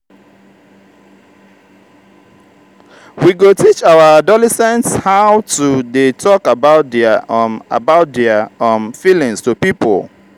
we go teach our adolescents how to dey tok about their um about their um feelings to pipo.